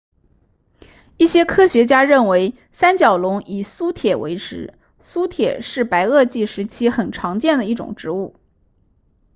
一些科学家认为三角龙以苏铁为食苏铁是白垩纪时期很常见的一种植物